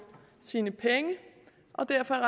sine penge og derfor er